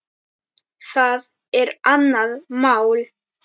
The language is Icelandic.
Það er annað mál.